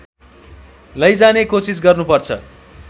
लैजाने कोसिस गर्नुपर्छ